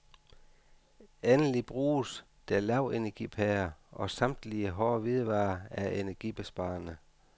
Endelig bruges der lavenergipærer, og samtlige hårde hvidevarer er energibesparende.